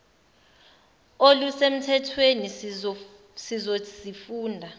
oluse mthethweni sizozifunda